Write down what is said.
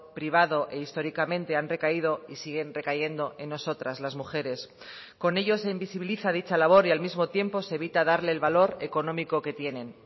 privado e históricamente han recaído y siguen recayendo en nosotras las mujeres con ello se invisibiliza dicha labor y al mismo tiempo se evita darle el valor económico que tienen